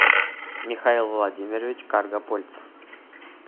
михаил владимирович каргапольцев